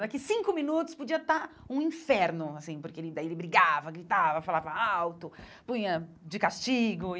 Daqui cinco minutos podia estar um inferno, assim, porque daí ele brigava, gritava, falava alto, punha de castigo e.